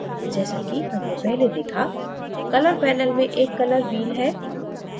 जैसाकि हमने पहले देखा color panel में एक color wheel है